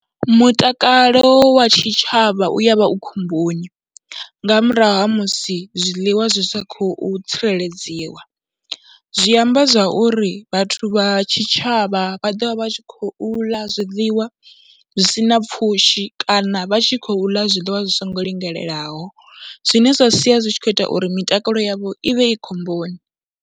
Mutakalo wa tshitshavha u ya vha u khomboni nga murahu ha musi zwiḽiwa zwi sa khou tsireledziwa, zwi amba zwa uri vhathu vha tshitshavha vha vha ḓo vha vha tshi khou ḽa zwiḽiwa zwi si na pfhushi kana vha tshi khou ḽa zwiḽiwa zwi songo linganelaho zwine zwa sia zwi tshi khou ita uri mitakalo yavho i vhe i khomboni.